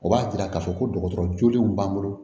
O b'a yira k'a fɔ ko dɔgɔtɔrɔ jolenw b'an bolo